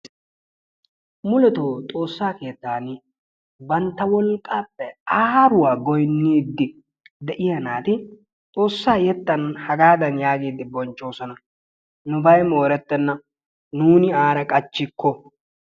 Mulettoo Xoossaa keettan bantta wolqqaappe aaruwa goyniidi de'iya naati Xoossaa yettan hagaadan yaagiidi bonchchoosona. Nubay moorettenna nuuni aara qachchikko.